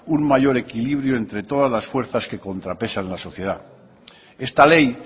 un mayor equilibrio entre todas las fuerzas que contrapesan en la sociedad esta ley